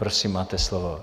Prosím, máte slovo.